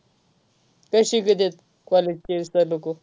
काय शिकवतात college चे sir लोक?